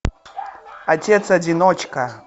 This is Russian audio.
отец одиночка